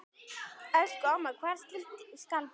Elsku amma, hvar skal byrja?